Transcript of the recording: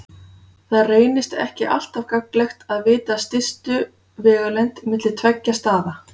Það reynist ekki alltaf gagnlegt að vita stystu vegalengd milli tveggja staða.